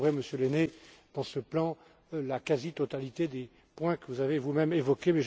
Et vous retrouverez, Monsieur Lehne, dans ce plan la quasi totalité des points que vous avez vous même évoqués.